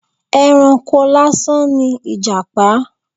Ẹranko lásán ni Ìjàpá.